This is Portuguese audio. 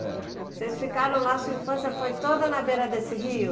É. Vocês ficaram lá, sua infância foi toda na beira desse rio?